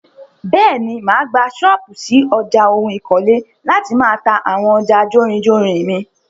Bẹ́ẹ̀ni, máa gbà ṣọ́pù ṣí ọjà oun ikole láti máà ta àwọn ọjà jórinjórin mi.